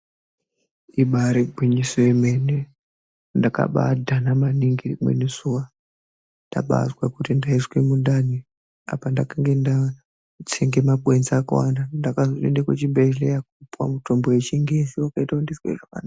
Ibari gwinyiso yemene ndakabadhana maningi rimweni zuwa ndabazwa kuti ndaizwe mundani apa ndakange ndatsenga makwenzi akawanda ndakazoenda kuchibhedhlera kopuwa mitombo yechingezi ndiwo yakazoita kuti ndizwe zvakanaka.